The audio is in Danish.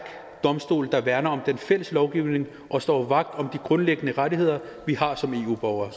domstol der værner om den fælles lovgivning og står vagt om de grundlæggende rettigheder vi har som eu borgere